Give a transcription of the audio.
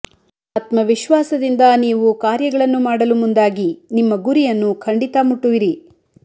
ಆತ್ಮವಿಶ್ವಾಸದಿಂದ ನೀವು ಕಾರ್ಯಗಳನ್ನು ಮಾಡಲು ಮುಂದಾಗಿ ನಿಮ್ಮ ಗುರಿಯನ್ನು ಖಂಡಿತ ಮುಟ್ಟುವಿರಿ